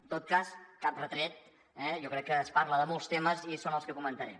en tot cas cap retret eh jo crec que es parla de molts temes i són els que comentaré